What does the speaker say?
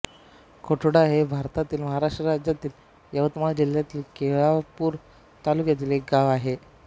कोथोडा हे भारतातील महाराष्ट्र राज्यातील यवतमाळ जिल्ह्यातील केळापूर तालुक्यातील एक गाव आहे